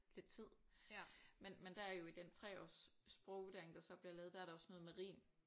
Lidt tid. Men men der er jo i den 3-års sprogvurdering der så bliver lavet der er der også noget med rim